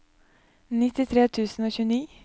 nittitre tusen og tjueni